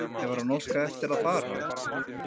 Hefur hann óskað eftir að fara?